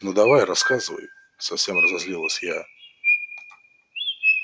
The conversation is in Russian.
ну давай рассказывай совсем разозлилась я